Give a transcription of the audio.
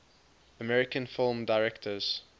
american film directors